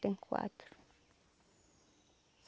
Tenho quatro.